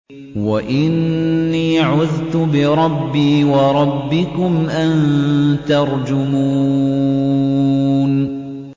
وَإِنِّي عُذْتُ بِرَبِّي وَرَبِّكُمْ أَن تَرْجُمُونِ